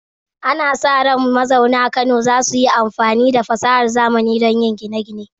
Ana sa ran mazauna Kano za su yi amfani da fasahar zamani don yin gine-gine.